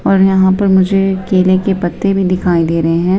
और यहां पर मुझे केले के पत्ते भी दिखाई दे रहे हैं।